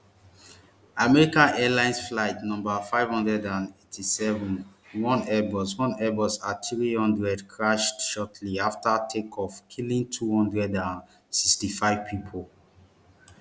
american airlines flight no five hundred and eighty-seven one airbus one airbus athree hundred crashed shortly afta takeoff killing two hundred and sixty-five pipo